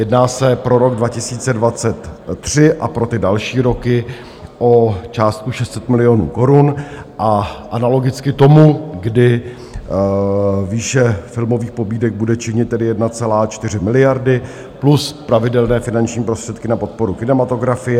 Jedná se pro rok 2023 a pro ty další roky o částku 600 milionů korun, analogicky tomu, kdy výše filmových pobídek bude činit tedy 1,4 miliardy plus pravidelné finanční prostředky na podporu kinematografie.